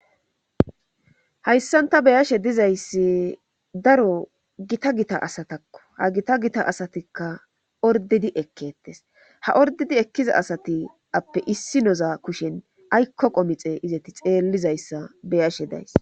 Hayssanta beyashe dizayssi daro gita gita asatakko ha gita gita asatikka ordedi ekketes ha ordedi ekkiza asati appe issi noza kushen aykko qomixe izati xeellizayssa beyashe days.